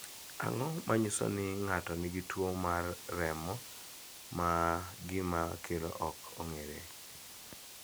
Ang�o ma nyiso ni ng�ato nigi tuo mar remo ma gima kelo ok ong'ere?